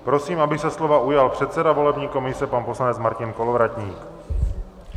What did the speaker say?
Prosím, aby se slova ujal předseda volební komise, pan poslanec Martin Kolovratník.